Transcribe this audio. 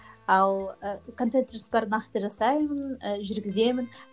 ал і контент жоспар нақты жасаймын і жүргіземін